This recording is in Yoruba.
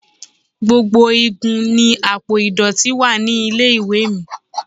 Gbogbo igun ni àpò ìdọ̀tí wa nílé-ìwé mi.